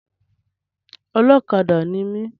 Ọlọ́kadà ni mi.